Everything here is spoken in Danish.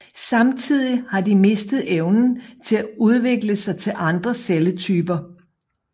Samtidig har de mistet evnen til at udvikle sig til andre celletyper